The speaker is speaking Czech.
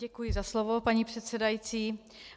Děkuji za slovo, paní předsedající.